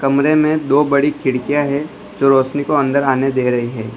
कमरे में दो बड़ी खिड़कियां हैं जो रोशनी को अंदर आने दे रही है।